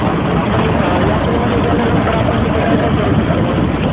आपण यात्रेमध्ये गेल्यानंतर आपण तिथे काय काय करू शकतो मग ?